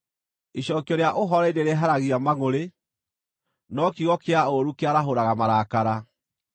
Icookio rĩa ũhooreri nĩrĩeheragia mangʼũrĩ, no kiugo kĩa ũũru kĩarahũraga marakara.